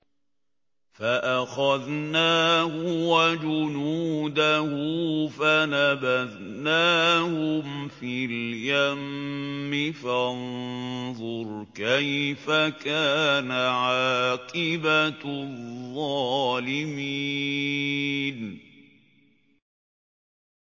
فَأَخَذْنَاهُ وَجُنُودَهُ فَنَبَذْنَاهُمْ فِي الْيَمِّ ۖ فَانظُرْ كَيْفَ كَانَ عَاقِبَةُ الظَّالِمِينَ